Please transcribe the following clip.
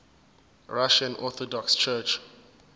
russian orthodox church